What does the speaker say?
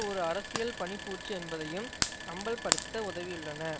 ஒரு அரசியல் பனிப்பூச்சு என்பதையும் அம்பல்ப்படுத்த உதவியுள்ளன